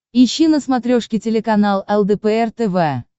ищи на смотрешке телеканал лдпр тв